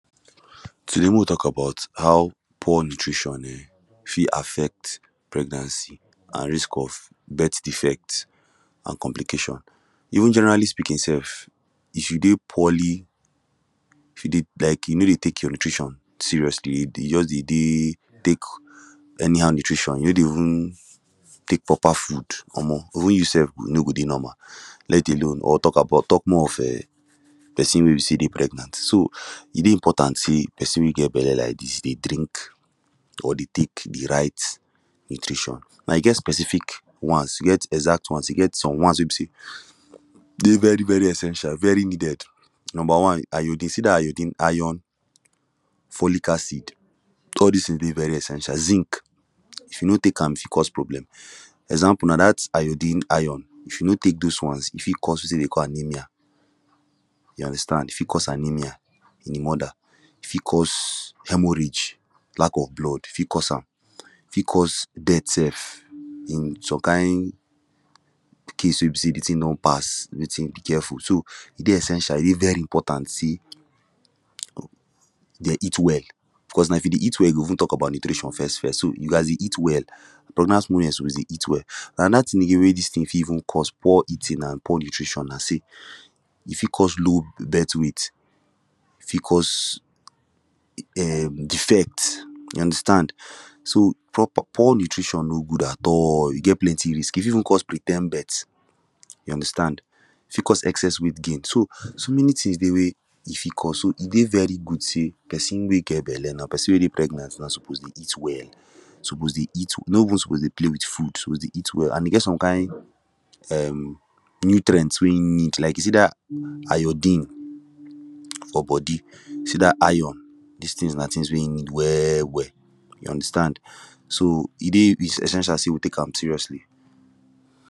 Today mek we tok about how poor nutrition um fit affect pregnancy an risk of birth defect an complications even generally speaking sef if you dey poorly if you dey like you no dey tek your nutrition seriously you just dey dey tek anyhow nutrition you no dey even tek proper food Omo even you sef you no go dey normal let alone or tok about tok more of um person wey be say dey pregnant so e dey important say person wey get belle like dis dey drink or dey tek de right nutrition now e get specific ones e get exact ones e get some ones wey be say dey very very essential very needed number one iodine you see dat iodine ion follic acid all dis tins dey very essential zinc if you no tek am e fit cause problem example na dat iodine ion if you no tek those ones e fit cause wetin we dey call anaemia you understand e fit cause anaemia in de moda e fit cause hemorrhage lack of blood e fit cause am e fit cause death sef in some kind case wey be say de tin don pass wetin be careful so e dey essential e dey every important say dey eat well cause now if you dey eat well we go tok about nutrition first first so you gast dey eat well pregnant woman suppose dey eat well anoda tin again wey dis tin fit even cause poor eating an poor nutrition na say e fit cause low birth rate e fit cause um defect you understand so poor nutrition no good at all e get plenty risk e fit even cause pre term birth you understand e fit cause excess weight gain so so many things dey wey e fit cause so e dey very good say person we get belle na person wey dey pregnant now suppose dey eat well suppose dey eat no even suppose dey play wit food suppose dey eat well an e get some kind um nutrients wey hin need like you see dat iodine for body you see dat ion this tins na tins wey him need well well you understand so e dey essential say we tek am seriously